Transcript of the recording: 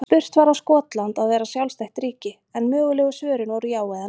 Spurt var á Skotland að vera sjálfstætt ríki? en mögulegu svörin voru já eða nei.